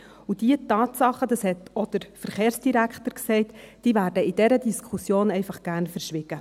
Und diese Tatsachen – das hat auch der Verkehrsdirektor gesagt – werden in dieser Diskussion einfach gern verschwiegen.